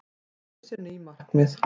Setur sér ný markmið